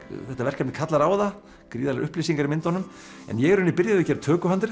þetta verkefni kallar á það gríðarlegar upplýsingar í myndunum ég í rauninni byrjaði á að gera